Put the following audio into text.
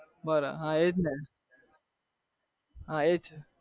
બરાબર હા એજ ને